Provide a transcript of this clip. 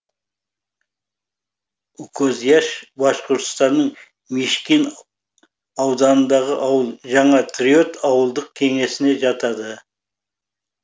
укозяш башқұртстанның мишкин ауданындағы ауыл жаңа триот ауылдық кеңесіне жатады